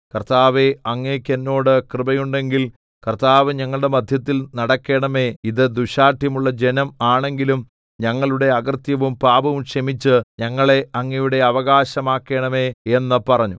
കർത്താവേ അങ്ങേക്ക് എന്നോട് കൃപയുണ്ടെങ്കിൽ കർത്താവ് ഞങ്ങളുടെ മദ്ധ്യത്തിൽ നടക്കേണമേ ഇത് ദുശ്ശാഠ്യമുള്ള ജനം ആണെങ്കിലും ഞങ്ങളുടെ അകൃത്യവും പാപവും ക്ഷമിച്ച് ഞങ്ങളെ അങ്ങയുടെ അവകാശമാക്കണമേ എന്ന് പറഞ്ഞു